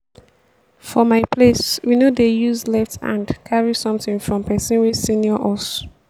for my place we no dey use left hand carry something from person wey senior us